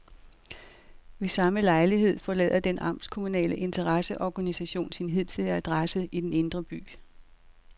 Ved samme lejlighed forlader den amtskommunale interesseorganisation sin hidtidige adresse i den indre by.